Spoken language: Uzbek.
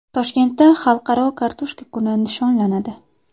Toshkentda Xalqaro kartoshka kuni nishonlanadi.